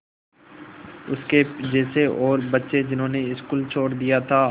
उसके जैसे और बच्चे जिन्होंने स्कूल छोड़ दिया था